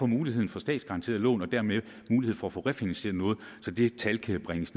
muligheden for statsgaranterede lån og dermed mulighed for at få refinansieret noget så det tal kan bringes